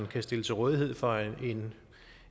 kan stille til rådighed for en